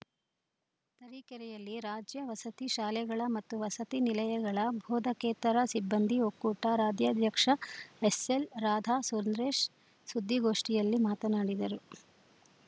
ತರೀಕೆರೆಯಲ್ಲಿ ರಾಜ್ಯ ವಸತಿ ಶಾಲೆಗಳ ಮತ್ತು ವಸತಿ ನಿಲಯಗಳ ಬೋಧಕೇತರ ಸಿಬ್ಬಂದಿ ಒಕ್ಕೂಟ ರಾಜ್ಯಾಧ್ಯಕ್ಷೆ ಎಸ್‌ಎಲ್‌ ರಾಧಾ ಸುಂದ್ರೇಶ್‌ ಸುದ್ದಿಗೋಷ್ಠಿಯಲ್ಲಿ ಮಾತನಾಡಿದರು